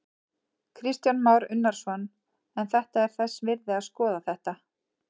Kristján Már Unnarsson: En þetta er þess virði að skoða þetta?